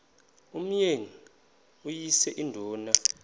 umyeni uyise iduna